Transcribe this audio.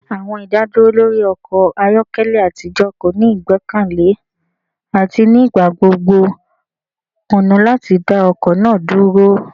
Awọn idaduro lori ọkọ ayọkẹlẹ atijọ ko ni igbẹkẹle ati nigbagbogbo kuna lati da ọkọ naa duro.